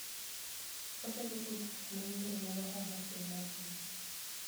Otego tudruok mag yore mag ohala e piny mangima.